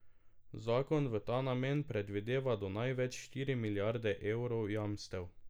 Zakon v ta namen predvideva do največ štiri milijarde evrov jamstev.